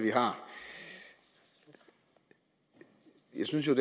vi har jeg synes jo